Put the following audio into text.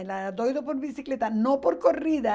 Ele era doido por bicicleta, não por corrida.